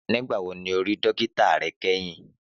Nígbà wo ni o rí dókítà re kéyìn?